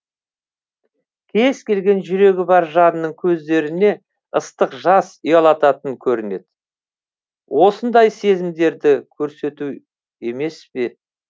кез келген жүрегі бар жанның көздеріне ыстық жас ұялататын көрінеді осындай сезімдерді көрсету емес пе